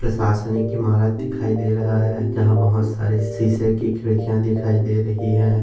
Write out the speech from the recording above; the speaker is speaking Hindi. प्रशासनिक की इमारत दिखाई दे रहा है जहा बहुत सारे शीशे की खिड्किया दिखाई दे रही है।